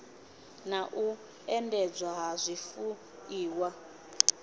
na u endedzwa ha zwifuiwa